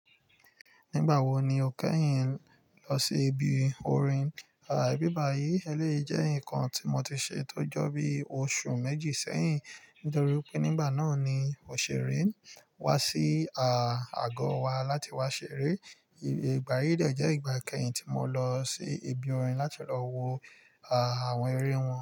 Nígbà wo ni o kẹ́yìn lọ sí ibi orin? Ibi bayi elẹ́yi jẹ́ nǹkan tí mo ti ṣe tó jọ bí oṣù méjì sẹ́yìn nítorí pé nígbà náà ni òṣèré wá sí à àgọ wa láti wá ṣeré. Ìgbà yìí dà jẹ́ ìgbà ìkẹyìn tí mo lọ sí ibi orin láti lọ wo àwọn eré wọn.